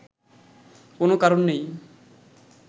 কোন কারণ নেই”